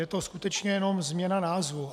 Je to skutečně jenom změna názvu.